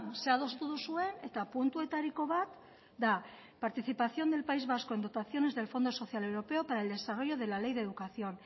zer adostu duzuen eta puntuetariko bat da participación del país vasco en dotaciones del fondo social europeo para el desarrollo para la ley de educación